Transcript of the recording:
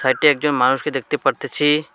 সাইটে একজন মানুষকে দেখতে পারতেছি।